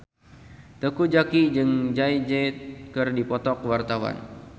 Teuku Zacky jeung Jay Z keur dipoto ku wartawan